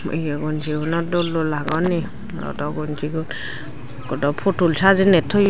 ye gonjiguno dol dol agon eh morodo gonjigun ikko do pudul sajenei toyon.